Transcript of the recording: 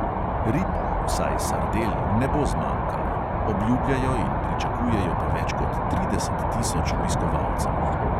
Rib, vsaj sardel, ne bo zmanjkalo, obljubljajo in pričakujejo pa več kot trideset tisoč obiskovalcev.